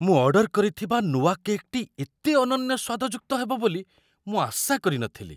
ମୁଁ ଅର୍ଡର କରିଥିବା ନୂଆ କେକ୍‌ଟି ଏତେ ଅନନ୍ୟ ସ୍ୱାଦଯୁକ୍ତ ହେବ ବୋଲି ମୁଁ ଆଶା କରି ନଥିଲି!